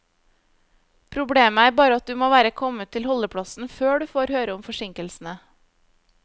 Problemet er bare at du må være kommet til holdeplassen før du får høre om forsinkelsene.